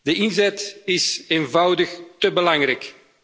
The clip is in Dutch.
De inzet is eenvoudig té belangrijk.